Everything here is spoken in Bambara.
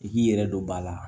I k'i yɛrɛ don ba la